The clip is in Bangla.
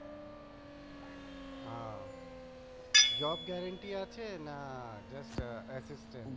আহ আছে না